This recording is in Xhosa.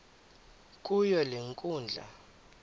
kuyo le nkundla